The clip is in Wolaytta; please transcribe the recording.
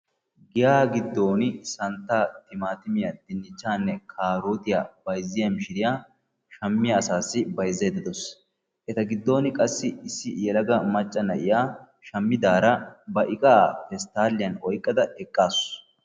Giyaa giddoni santta, timattimiyaa, dinichchanne karottiyaa bayziyaa mishiriyaa shammiya asassi bayzaydda dawussu, etta giddoni qassi issi yelagga na'iyaa shamidara ba iqqaa pesttaliyaan oyqqada eqqasu. ,